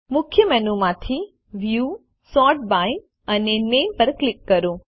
મુખ્ય મેનુ માંથી view sort by અને નામે પર ક્લિક કરો